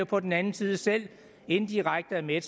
på den anden side selv indirekte er med